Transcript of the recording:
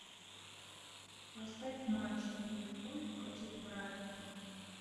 поставь матч ливерпуль против брайтона